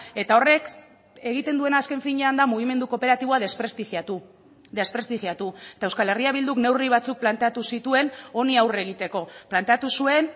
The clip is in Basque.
eta horrek egiten duena azken finean da mugimendu kooperatiboa desprestigiatu desprestigiatu eta euskal herria bilduk neurri batzuk planteatu zituen honi aurre egiteko planteatu zuen